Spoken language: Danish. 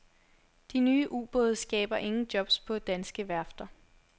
De nye ubåde skaber ingen jobs på danske værfter.